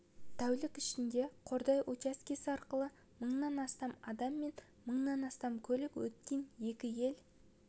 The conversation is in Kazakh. тәулік ішінде қордай учаскесі арқылы мыңнан астам адам мен мыңнан астам көлік өткен екі ел